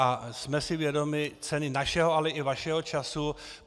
A jsme si vědomi ceny našeho, ale i vašeho času.